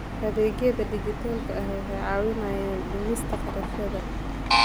Adeegyada dijitaalka ah waxay caawiyaan dhimista kharashyada.